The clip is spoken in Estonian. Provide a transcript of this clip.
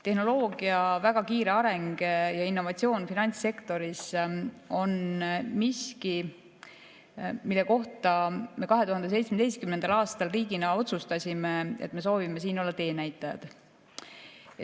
Tehnoloogia väga kiire areng ja innovatsioon finantssektoris on miski, mille kohta me 2017. aastal riigina otsustasime, et me soovime siin olla teenäitajad.